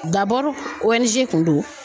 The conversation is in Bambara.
ONG kun don